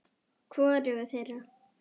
Hvorugu þeirra.